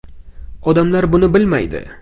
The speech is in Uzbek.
Odamlar buni bilmaydi.